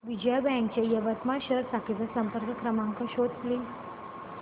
Vijaya bank च्या यवतमाळ शहर शाखेचा संपर्क क्रमांक शोध प्लीज